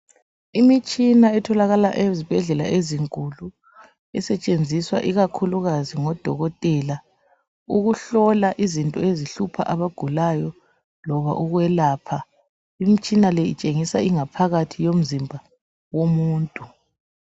Imitshina etholakala ezibhedlela ezinkulu esetshenziswa ikakhulukazi ngodokotela ukuhlola izinto ezihlupha abagulayo loba ukwelapha. Imitshina le itshengisa ingaphakathi yomzimba womuntu.